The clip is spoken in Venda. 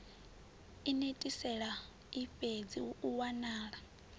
inetisela ifhedzi hu u wanala